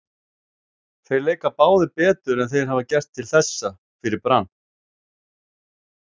Þeir leika báðir betur en þeir hafa gert til þessa fyrir Brann.